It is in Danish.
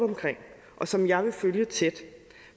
og som jeg vil følge tæt